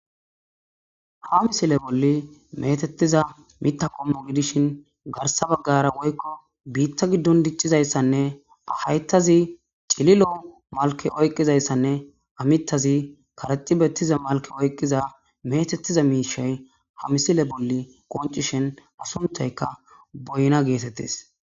Ha missille bolli mettetiza miththa qommo gidishin garssa baggara bitta giddon diccizayssane hayththazi cillilo malke oyqqizayssane ha miththazi karexxi bettiza malke oyqqiza mettetiza mishshay ha missile bolla qoncishin sunththayka boynna gettetes.